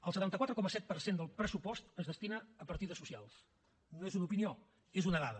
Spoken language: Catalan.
el setanta quatre coma set per cent del pressupost es destina a partides socials no és una opinió és una dada